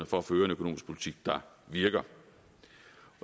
for at føre en økonomisk politik der virker